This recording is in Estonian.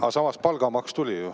Aga samas palgamaks tuli ju.